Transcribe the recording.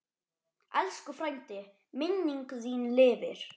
Elsku frændi, minning þín lifir.